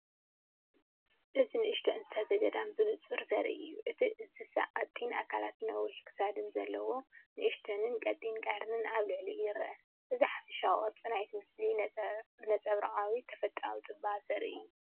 እዚ ንእሽቶ እንስሳ ዘገዳም ብንጹር ዘርኢ እዩ። እቲ እንስሳ ቀጢን ኣካላትን ነዊሕ ክሳድን ኣለዎ፣ ንእሽቶን ቀጢንን ቀርኒ ኣብ ልዕሊኡ ይርአ። እዚ ሓፈሻዊ ቅርጺ ናይቲ ምስሊ ነጸብራቕ ተፈጥሮኣዊ ጽባቐ ዘርኢ እዩ።